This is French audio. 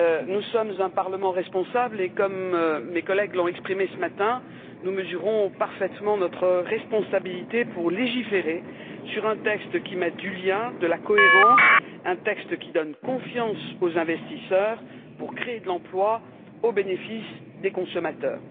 Nous sommes un Parlement responsable et comme mes collègues l'ont exprimé ce matin, nous mesurons parfaitement notre responsabilité pour légiférer sur un texte qui mette du lien, de la cohérence, un texte qui donne confiance aux investisseurs pour créer de l'emploi au bénéfice des consommateurs.